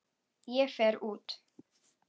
Ég fer út.